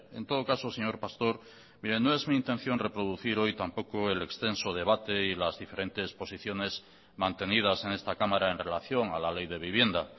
en todo caso señor pastor mire no es mi intención reproducir hoy tampoco el extenso debate y las diferentes posiciones mantenidas en esta cámara en relación a la ley de vivienda